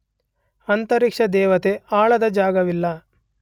ಅಂತರಿಕ್ಷದೇವತೆ ಆಳದ ಜಾಗವಿಲ್ಲ.